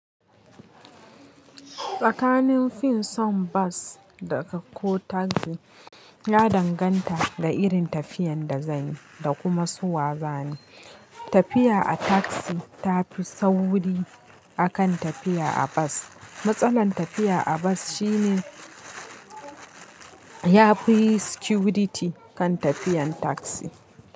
Tsakanin fin son bas daga ko tagzi ya danganta da irin tafiyan da zanyi da kuma su wazani. Tafiya a tagzi tafi sauri akan tafiya a bas. Matsalan tafiya a bas shine yafi security kan tafiyan tagzi.